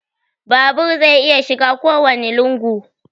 Babur zai iya shiga kowanne lungu